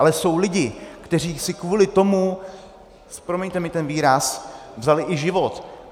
Ale jsou lidé, kteří si kvůli tomu, promiňte mi ten výraz, vzali i život.